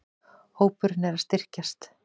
Hópurinn er að styrkjast.